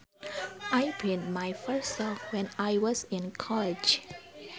I penned my first song when I was in college